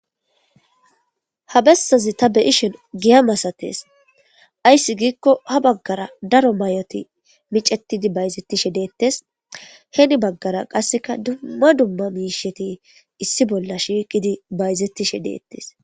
Ha bessazi ta beyishen giya masates, ayssi giikko ha baggara daro may7oti micetidi bayzettishe deettes heni baggara qasseka dumma dumma miisheti issi bolla shiiqidi bayzettishe deettes.